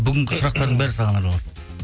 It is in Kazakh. бүгінгі сұрақтардың бәрі саған арналған